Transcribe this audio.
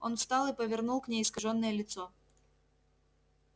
он встал и повернул к ней искажённое лицо